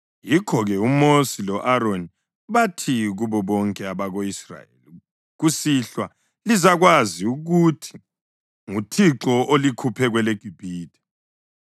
Yikho-ke uMosi lo-Aroni bathi kubo bonke abako-Israyeli, “Kusihlwa lizakwazi ukuthi nguThixo olikhuphe kweleGibhithe,